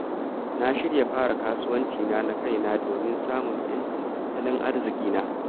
Na shirya fara kasuwanci na kaina domin samun ‘yancin tattalin arzikina.